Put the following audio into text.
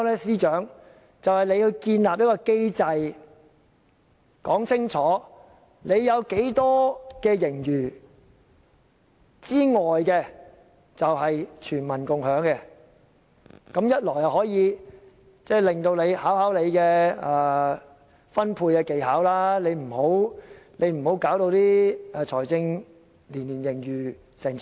便是由司長建立一個機制，說清楚有多少盈餘可供全民共享，此舉要考驗司長的財政分配技巧，不要做到年年有過千億元的財政盈餘。